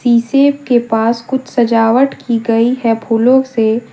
शीशे के पास कुछ सजावट की गई है फूलों से।